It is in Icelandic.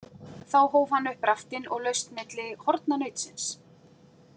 Þá hóf hann upp raftinn og laust milli horna nautsins.